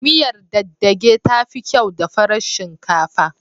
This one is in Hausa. Miyar dage dage tafi kyau da farar shinkafa